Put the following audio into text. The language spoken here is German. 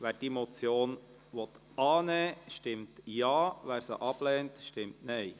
Wer diese Motion annehmen will, stimmt Ja, wer diese ablehnt, stimmt Nein.